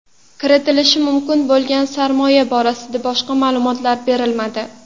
Kiritilishi mumkin bo‘lgan sarmoya borasida boshqa ma’lumotlar berilmadi.